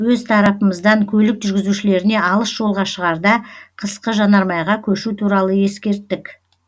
өз тарапымыздан көлік жүргізушілеріне алыс жолға шығарда қысқы жанармайға көшу туралы ескерттік